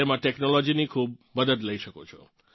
તેમાં ટેકનોલોજીની પણ ખૂબ મદદ લઇ શકો છો